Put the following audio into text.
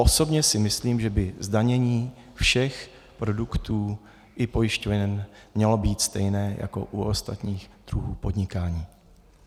Osobně si myslím, že by zdanění všech produktů i pojišťoven mělo být stejné jako u ostatních druhů podnikání.